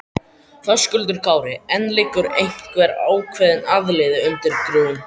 Höskuldur Kári: En liggur einhver ákveðin aðili undir grun?